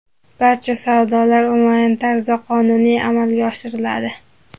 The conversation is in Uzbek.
Barcha savdolar onlayn tarzda qonuniy amalga oshiriladi.